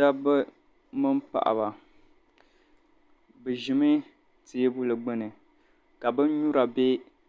dabba mini paɣa bɛ ʒimi teebuli gbuni ka binyura bɛ